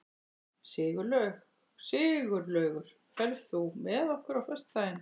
Sigurlaugur, ferð þú með okkur á föstudaginn?